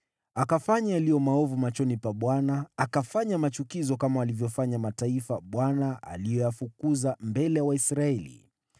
Akafanya maovu machoni pa Bwana, akafuata desturi za machukizo za mataifa ambayo Bwana aliyafukuza mbele ya Waisraeli.